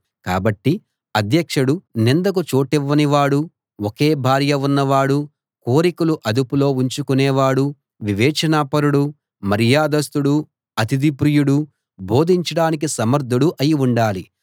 కాబట్టి అధ్యక్షుడు నిందకు చోటివ్వనివాడూ ఒకే భార్య ఉన్నవాడూ కోరికలు అదుపులో ఉంచుకునేవాడూ వివేచనాపరుడూ మర్యాదస్థుడూ అతిథి ప్రియుడూ బోధించడానికి సమర్థుడూ అయి ఉండాలి